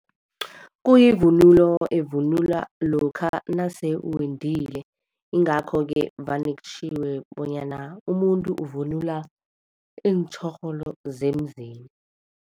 Kuyivunulo evunulwa lokha nase uwendile. Ingakho-ke vane kutjhiwo bonyana umuntu uvunula iintjhorholo zemzini.